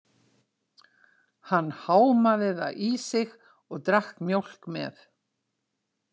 Hann hámaði það í sig og drakk mjólk með.